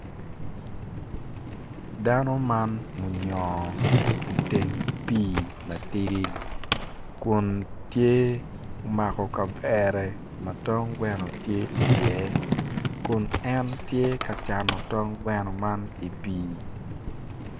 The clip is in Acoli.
Dano man oyongo iteng pii matidi kun tye omako kavere ma tong gweno tye iye kun en tye ka cano tong gweno man i pii.